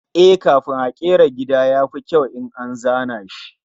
Eh, kafin a kera gida, ya fi kyau in an fara zana shi